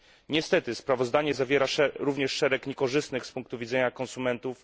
Niestety sprawozdanie zawiera również szereg propozycji niekorzystnych z punktu widzenia konsumentów.